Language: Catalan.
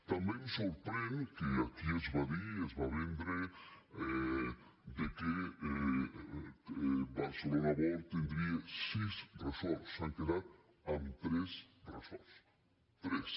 també ens sorprèn que aquí es va dir i es va vendre que barcelona world tindria sis resorts s’han quedat en tres resorts tres